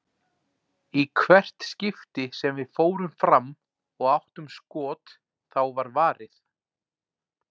Í hvert skipti sem við fórum fram og áttum skot, þá var varið.